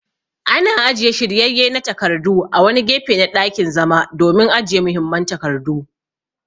Ana ajiye shiryayye na takardu a wani gefe na ɗakin zama domin ajiye muhimman takardu.